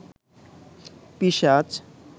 পিশাচ